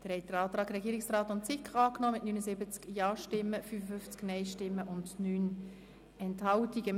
Sie haben den Antrag von SiK und Regierung mit 79 Ja- gegen 55 Nein-Stimmen bei 9 Enthaltungen dem Antrag Guggisberg vorgezogen.